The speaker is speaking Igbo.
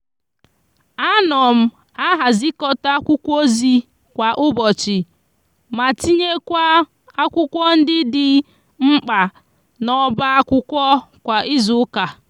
a no m a hazicota akwukwu ozi kwa ubochi ma tinyekwa akwukwo ndi di nkpa n' oba akwukwo kwa izuuka.